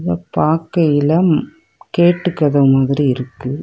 இத பாக்கையிலம் கேட்டு கதவு மாதிரி இருக்கு.